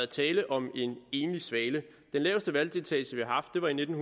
tale om en enlig svale den laveste valgdeltagelse vi har haft var i nitten